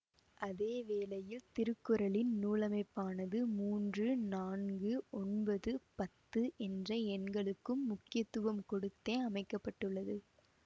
அதேவேளையில் திருக்குறளின் நூலமைப்பானது மூன்று நான்கு ஒன்பது பத்து என்ற எண்களுக்கும் முக்கியத்துவம் கொடுத்தே அமைக்க பட்டுள்ளது